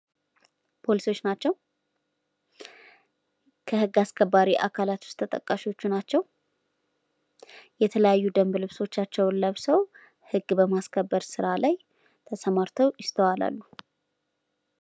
ፖሊሶች ናቸው ህግ አስከባሪ አካላት ውስጥ ተጠቃሽ ናቸው። የተለያዩ ደንብ ለብሶአቸው ለብሰው ህግ ማስከበር ስራ ላይ ተሰማርተው ይስተዋላሉ ።